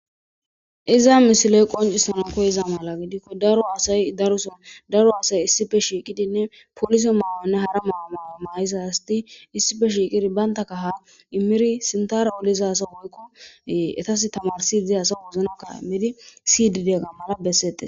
iza misiloy qoncisanan koyiza mala gidikko daro hasay daruson daro asay issife shiiqidinne poliso maawanne hara maamaa mayisa hasti issife shiiqidi bayntaka ha immiri sintara oliza asa woykko etas tamarsi iddi hasa guuzna kalamidi sidde-ga mana bessete